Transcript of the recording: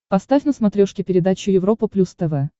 поставь на смотрешке передачу европа плюс тв